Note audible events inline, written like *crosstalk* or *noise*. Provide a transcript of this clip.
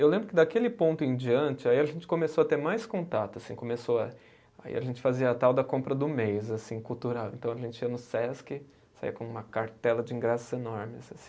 Eu lembro que daquele ponto em diante, aí a gente começou a ter mais contato assim, começou a, aí a gente fazia a tal da compra do mês assim, cultural, então a gente ia no Sesc, saía com uma cartela de ingressos enormes. *unintelligible*